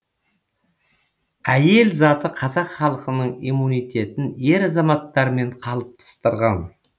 әйел заты қазақ халқының иммунитетін ер азаматтармен қалыптастырған